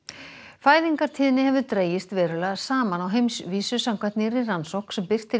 fæðingartíðni hefur dregist verulega saman á heimsvísu samkvæmt nýrri rannsókn sem birt er í